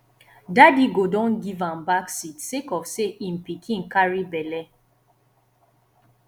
daddy go don give am back seat sake of sey im pikin carry belle